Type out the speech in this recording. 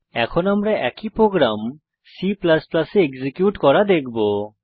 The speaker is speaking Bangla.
এখন আমরা একই প্রোগ্রাম C এ এক্সিকিউট করা দেখবো